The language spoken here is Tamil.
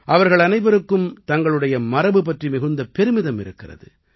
அவர்கள் அனைவருக்கும் தங்களுடைய மரபு பற்றி மிகுந்த பெருமிதம் இருக்கிறது